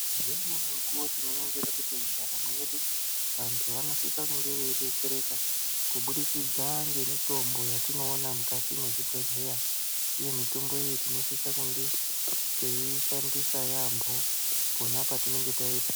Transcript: Mune mumweni mukuwo tinoningira kuti ntaramo yedu vantu vanosise kunge veidetsereka kuburikidza nemitombo yatinoona mukati mezvibhedhera uye mitombo iyi tinosisa kunge teiishandisa yambo pona patinenge taipiwa.